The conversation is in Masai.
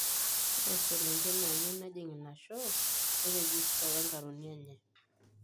Ore iselengen naanyiey nejing ina show neiregista wenkarikoni enye.